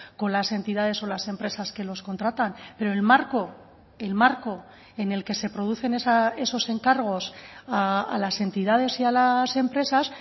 con las entidades o las empresas que los contratan pero el marco el marco en el que se producen esos encargos a las entidades y a las empresas